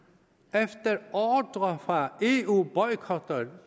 efter ordre fra eu boykotter